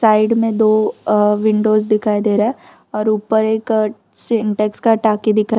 side में दो और विंडोज दिखाई दे रहा है और ऊपर एक सेंटेक्स का टाकी दिखा--